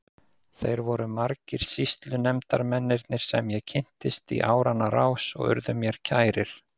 Þeir voru margir sýslunefndarmennirnir sem ég kynntist í áranna rás og urðu mér kærir.